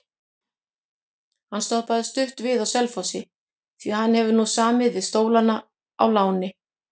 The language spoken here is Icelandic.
Hann stoppaði stutt við á Selfossi því hann hefur nú samið við Stólana á láni.